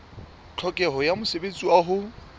tlhokeho ya mosebetsi wa ho